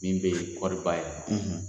Min bɛ kɔrɔri bayɛlɛma.